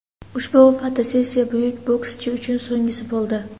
Ushbu fotosessiya buyuk bokschi uchun so‘nggisi bo‘ldi.